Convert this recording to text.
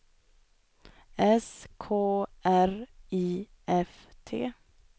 S K R I F T